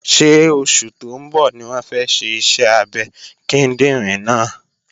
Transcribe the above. Ṣé oṣù tó ń bọ̀ ní wọ́n fẹ́ ṣe iṣẹ́ abẹ kíndìnrín náà?